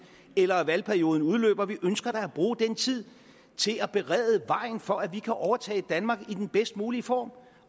eller valgperioden udløber vi ønsker da at bruge den tid til at berede vejen for at vi kan overtage danmark i den bedst mulige form